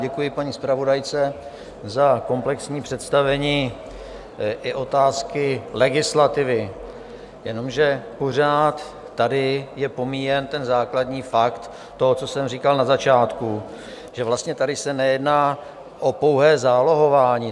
Děkuji paní zpravodajce za komplexní představení i otázky legislativy, jenomže pořád tady je pomíjen ten základní fakt toho, co jsem říkal na začátku, že vlastně tady se nejedná o pouhé zálohování.